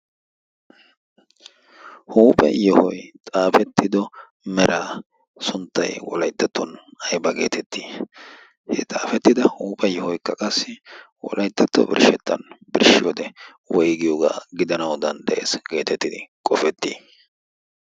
huuphe yohoy xaafettido meraa sunttay wolayttatuwan ayba geetettii? he xaafetida huuphe yohoy wolaytatto birshetaa birshiyyode woygiyogaa gidanawu dandayetii?